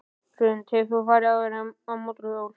Hrund: Hefur þú farið áður á mótorhjól?